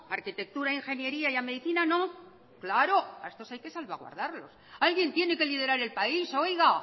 arquitectura ingeniería y medicina no claro a estos hay que salvaguardarlos alguien tiene que liderar el país oiga